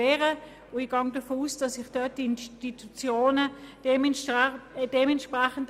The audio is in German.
Ich gehe davon aus, dass sich die betroffenen Institutionen entsprechend zur Wehr setzen werden.